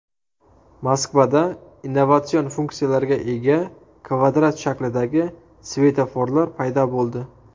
Moskvada innovatsion funksiyalarga ega kvadrat shaklidagi svetoforlar paydo bo‘ldi.